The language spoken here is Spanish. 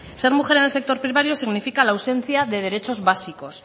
ser mujer en el sector primario significa la ausencia de derechos básicos